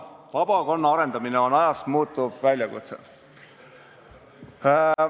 Vabakonna arendamine on ajas muutuv väljakutse.